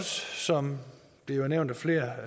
som det er nævnt af flere